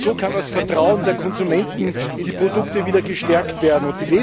Nur so kann das Vertrauen der Konsumenten in die Produkte wieder gestärkt werden.